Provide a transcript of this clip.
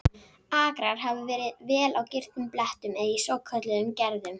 Akrar hafa verið á vel girtum blettum eða í svokölluðum gerðum.